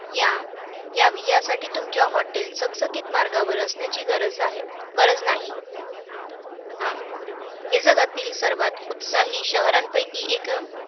या~ यासाठी तुमचे hotel चकचकीत मार्गावर असण्याची गरज आहे~ गरज नाही. हा. हे जगातील सर्वात उत्साही शहरांपैकी एक